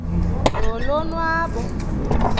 nolonwabo